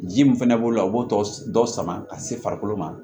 Ji min fɛnɛ b'o la o b'o dɔ sama ka se farikolo ma